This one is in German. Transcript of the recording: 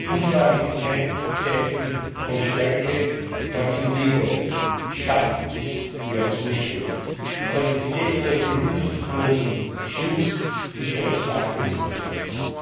Zuschlagen ist kein Zeichen von Stärke, ganz im Gegenteil Schwach ist, wer zuschlägt. Und ein Gesetz, das die Rücksichtslosen schützt, ist ein schwaches Gesetz.